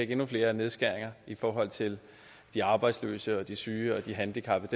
endnu flere nedskæringer i forhold til de arbejdsløse og de syge og de handicappede